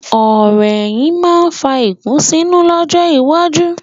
Ọ̀rò ẹ̀yìn máa fà ìkùnsínú lọ́jọ́ iwájú.